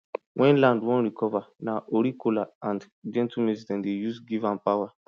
when land wan recover na ori kola and gentle music dem dey use give am power